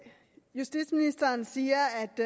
justitsministeren siger